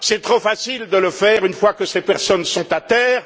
C'est trop facile de le faire une fois que ces personnes sont à terre.